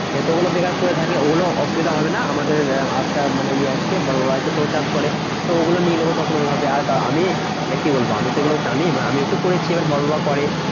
তো ওগুলো বেকার পরে থাকে ওগুলো অসুবিধা হবে না। আমাদের মানে ইয়ে আসছে বড়োরা আছে তো চাষ করে। তো ওগুলো নিয়ে নেবো তখন ঐভাবে আর আমি মানে কি বলবো আমি এগুলো জানি আমিও তো করেছি এবার বড়রাও করে।